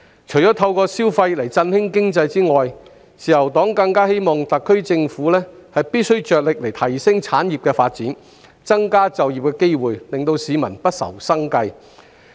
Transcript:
除透過刺激消費來振興經濟外，自由黨更希望特區政府着力提升產業的發展，增加就業機會，令市民不愁生計。